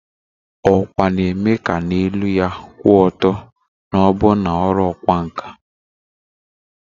Ọkwa na-eme ka na elu ya kwụ ọtọ na ọbụna na ọrụ ọkwá nkà